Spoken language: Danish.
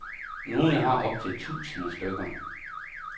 Nogle har op til tusinde stykker.